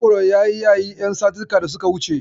Mangoro ya yi yayi ƴan satuttuka da suka wuce.